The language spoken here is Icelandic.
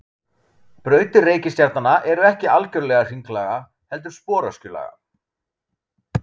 Brautir reikistjarnanna eru ekki algjörlega hringlaga heldur sporöskjulaga.